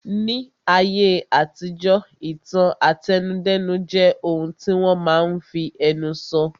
Ní ayé àtijọ́, ìtàn àtẹnudẹ́nu jẹ́ ohun tí wọ́n máa n fi ẹnu sọ